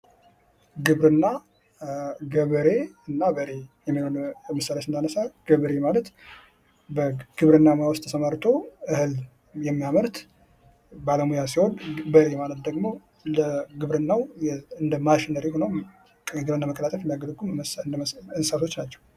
ግብርና ገበሬ እና በሬ ለምሳሌ ስናነሳ ገበሬ ማለት በግብርና ሙያ ዉስጥ ተሰማርቶ የሚያመርት ባለሙያ ሲሆን በሬ ደግሞ እንደ መሳሪያ ሆነው ለማቀላጠፍ የሚያገለግሉ እንሥሳቶች ናቸው።